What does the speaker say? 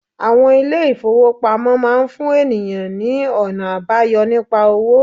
Àwon ilé ìfowópamọ́ máa fún ènìyàn ní ònà àbáyọ nípa owó